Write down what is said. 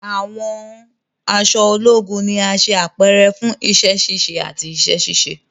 Awọn aṣọ ologun ni a ṣe apẹrẹ fun iṣẹ-ṣiṣe ati iṣẹ-ṣiṣe